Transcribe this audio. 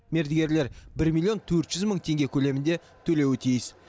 мердігерлер бір миллион төрт жүз мың теңге көлемінде төлеуі тиіс